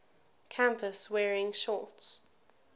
campus wearing shorts